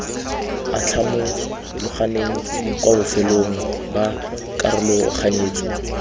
atlhamologaneng kwa bofelong ba karologanyetso